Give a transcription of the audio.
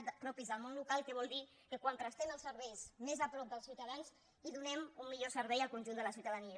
sí acabo propis del món local que vol dir que quan prestem els serveis més a prop dels ciutadans donem un millor servei al conjunt de la ciutadania